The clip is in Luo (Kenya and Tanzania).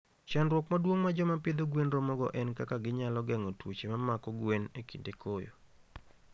Chandruok maduong' ma joma pidho gwen romogo en kaka ginyalo geng'o tuoche ma mako gwen e kinde koyo.